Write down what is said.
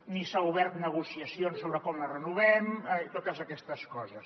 ni s’han obert negociacions sobre com les renovem totes aquestes coses